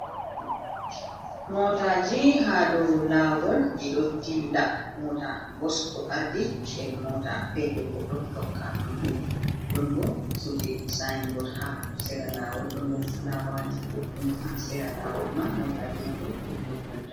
Moataji ha dou lawol ɗi ɗo dilla. Moata bus ɗo ardi, nden mota petel ɗo takka ɗuɗɗum. Ɗon bo kuuje sain bod ha sera lawol, ɗon bo fulawaji ɗuɗɗi ha sera lawol man. Mootaji man ɗo, ɗo dou kolta.